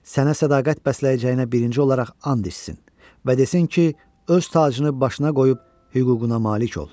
Sənə sədaqət bəsləyəcəyinə birinci olaraq and içsin və desin ki, öz tacını başına qoyub hüququna malik ol.”